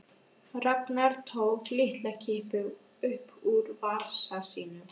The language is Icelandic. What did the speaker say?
Ragnar tók lyklakippu upp úr vasa sínum.